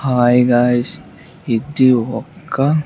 Hi guys ఇది ఒక్క.